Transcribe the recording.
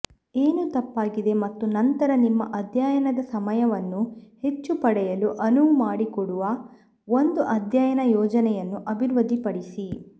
ಏನು ತಪ್ಪಾಗಿದೆ ಮತ್ತು ನಂತರ ನಿಮ್ಮ ಅಧ್ಯಯನದ ಸಮಯವನ್ನು ಹೆಚ್ಚು ಪಡೆಯಲು ಅನುವು ಮಾಡಿಕೊಡುವ ಒಂದು ಅಧ್ಯಯನ ಯೋಜನೆಯನ್ನು ಅಭಿವೃದ್ಧಿಪಡಿಸಿ